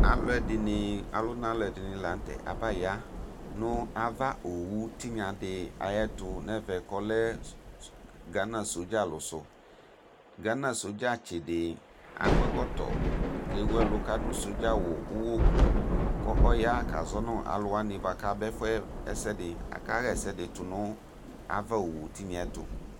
Ɔlʋna alʋ ɛdini lanʋtɛ abaya nʋ ava owʋ tinyadi ayʋ ɛtʋ nʋ ɛvɛ kʋ ɔlɛ gana sodza alʋsʋ gana sodzatsi di akɔ ɛkɔtɔ kʋ ewʋ ɛlʋ kʋ adʋ sodzawʋ ʋwɔkʋ kʋ ɔya kazɔ nʋ alʋwanɩ kʋ aba ɛfʋ yɛ akaxa ɛsɛdi tʋnʋ ava owʋ tinyɛ ɛtʋ